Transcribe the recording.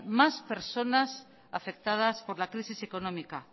más personas afectadas por la crisis económica